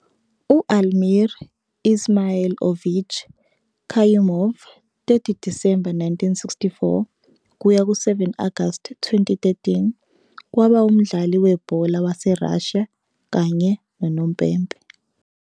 U-Almir Izmailovich Kayumov, 30 December 1964 - 7 Agasti 2013, kwaba umdlali webhola waseRussia kanye unompempe.